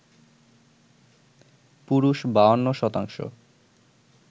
পুরুষ ৫২%,